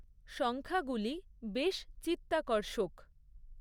সংখ্যাগুলি বেশ চিত্তাকর্ষক।